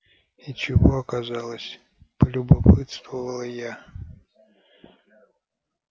и чего оказалось полюбопытствовала я